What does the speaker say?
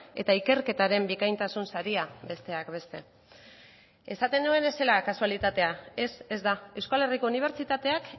eta ikerketaren bikaintasun saria besteak beste esaten nuen ez zela kasualitatea ez ez da euskal herriko unibertsitateak